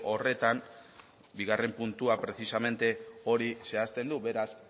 horretan bigarren puntua precisamente hori zehazten du beraz